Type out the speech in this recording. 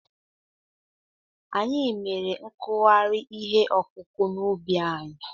Anyị mere nkụgharị ihe ọkụkụ̀ n'ubi anyị.